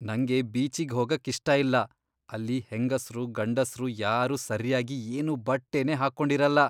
ನಂಗೆ ಬೀಚಿಗ್ ಹೋಗಕ್ಕಿಷ್ಟ ಇಲ್ಲ. ಅಲ್ಲಿ ಹೆಂಗಸ್ರು ಗಂಡಸ್ರು ಯಾರೂ ಸರ್ಯಾಗಿ ಏನೂ ಬಟ್ಟೆನೇ ಹಾಕೊಂಡಿರಲ್ಲ.